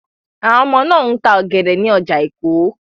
Àwọn ọmọ náà ń ta ọ̀gẹ̀dẹ̀ ní ọjà Èkó.